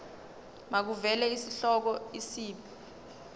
makuvele isihloko isib